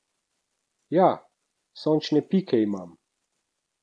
Jah, sončne pike imam.